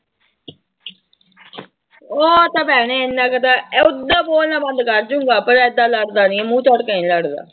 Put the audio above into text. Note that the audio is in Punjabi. ਉਹ ਤਾਂ ਭੈਣੇ ਇੰਨਾ ਕੁ ਤਾਂ ਓਦਾਂ ਬੋਲਣਾ ਬੰਦ ਕਰ ਜਾਊਗਾ ਪਰ ਏਦਾਂ ਲੜਦਾ ਨੀ ਹੈ ਮੂੰਹ ਚੜ੍ਹ ਕੇ ਨੀ ਲੜਦਾ।